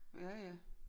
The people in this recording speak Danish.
Ja ja